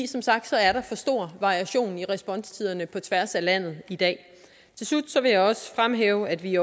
som sagt er for stor variation i responstiderne på tværs af landet i dag til slut vil jeg også fremhæve at vi